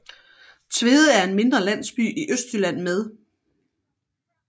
Tvede er en mindre landsby i Østjylland med